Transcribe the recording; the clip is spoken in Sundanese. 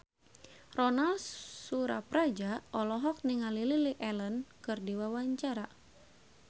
Ronal Surapradja olohok ningali Lily Allen keur diwawancara